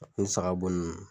Ni saga bo nunnu.